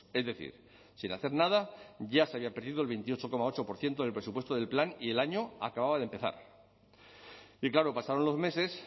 es decir sin hacer nada ya se había perdido el veintiocho coma ocho por ciento del presupuesto del plan y el año acababa de empezar y claro pasaron los meses